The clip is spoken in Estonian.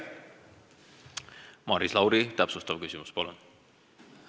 Maris Lauri, täpsustav küsimus, palun!